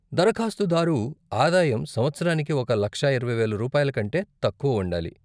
దరఖాస్తుదారు ఆదాయం సంవత్సరానికి ఒక లక్ష ఇరవై వేలు రూపాయల కంటే తక్కువ ఉండాలి.